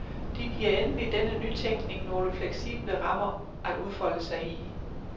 De giver endelig denne nytænkning nogle fleksible rammer at udfolde sig i.